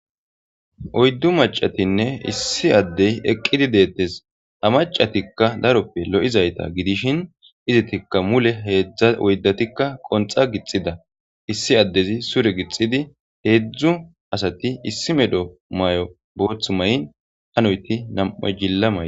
Oyddu macatinne issi addey eqqidi deettes amacatikka daroppe lo7izayta gidishin izitikka mule heedzdza oydatikka qonxa gixida issi addezi sure gixidi heedzdzu asati issi medo may7o booth may7n hanoyti nam7oy jilla may.